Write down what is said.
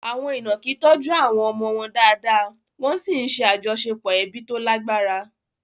Àwọn ìnàkí tọ́jú àwọn ọmọ wọn dáadáa, wọ́n sì ń ṣe àjọṣepọ̀ ẹbí tó lágbára.